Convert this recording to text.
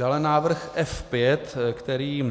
Dále návrh F5, který